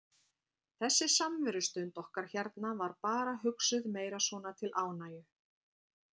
Þessi samverustund okkar hérna var bara hugsuð meira svona til ánægju.